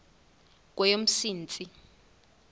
kweyomsintsi